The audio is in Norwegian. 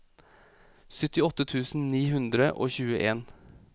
syttiåtte tusen ni hundre og tjueen